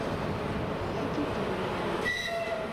якитория